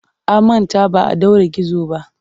An manta ba a ɗaure gizo ba.